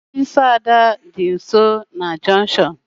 Ofisi Ada dị nsọ na junktion